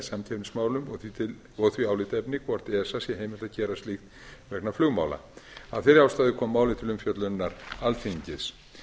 samkeppnismálum og því álitaefni hvort esa sé heimilt að gera slíkt vegna flugmála af þeirri ástæðu kom málið til umfjöllunar alþingis